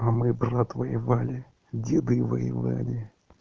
а мой брат воевали деды воевали